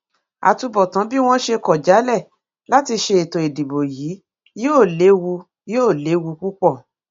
àtúbọtán bí wọn ṣe kọ jálẹ láti ṣètò ìdìbò yìí yóò léwu yóò léwu púpọ